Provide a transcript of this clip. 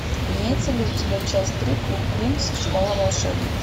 имеется ли у тебя часть три клуб винкс школа волшебниц